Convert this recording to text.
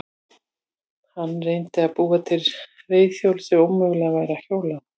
Hann reyndi að búa til reiðhjól sem ómögulegt væri að hjóla á.